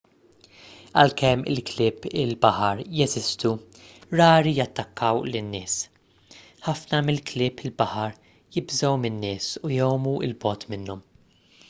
għalkemm il-klieb il-baħar jeżistu rari jattakkaw lin-nies ħafna mill-klieb il-baħar jibżgħu min-nies u jgħumu l bogħod minnhom